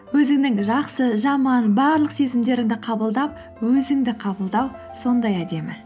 өзіңнің жақсы жаман барлық сезімдеріңді қабылдап өзіңді қабылдау сондай әдемі